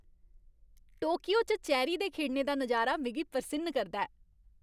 Tokyo च cherry दे खिड़ने दा नजारा मिगी परसिन्न करदा ऐ।